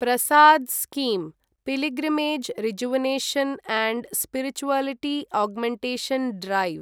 Prasad scheme pilgrimage rejuvenation and spirituality augmentation drive